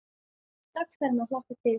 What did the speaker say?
Strax farin að hlakka til.